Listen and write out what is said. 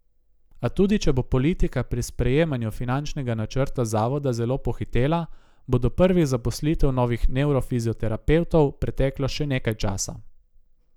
A tudi če bo politika pri sprejemanju finančnega načrta zavoda zelo pohitela, bo do prvih zaposlitev novih nevrofizioterapevtov preteklo še nekaj časa.